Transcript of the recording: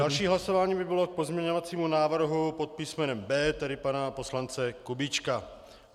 Další hlasování by bylo k pozměňovacímu návrhu pod písmenem B, tedy pana poslance Kubíčka.